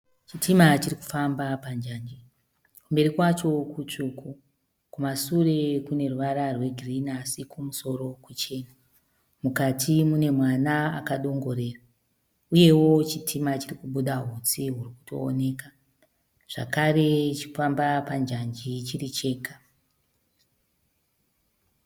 Chitima chirikufamba panjanji. Kumberi kwacho kutsvuku. Kumashure kuneruvara rwegirinhi asi kumusoro kuchena. Mukati mune mwana akadongorera, uyewo chitima chirikubuda hutsi hurikutooneka, zvakare chirikufamba panjanji chiri chega.